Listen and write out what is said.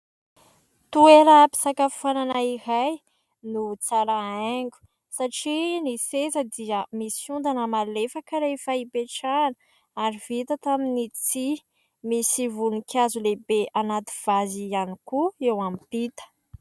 Toeram- pisakafoanana iray no tsara hiango satria ny seza dia misy ondana malefaka rehefa ipetrahana, ary vita tamin'ny tsihy. Misy voninkazo lehibe anaty vazy ihany koa eo ampita.